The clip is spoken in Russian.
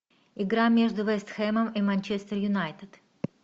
игра между вест хэмом и манчестер юнайтед